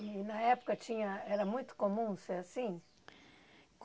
E na época tinha era muito comum ser assim?